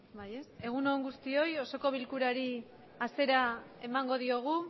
egunon guztioi osoko bilkurari hasiera emango diogu